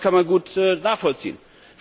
Ich glaube, das kann man gut nachvollziehen.